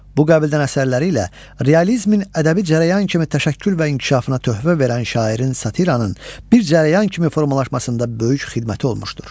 Bu qəbildən əsərləri ilə realizmin ədəbi cərəyan kimi təşəkkül və inkişafına töhfə verən şairin satiranın bir cərəyan kimi formalaşmasında böyük xidməti olmuşdur.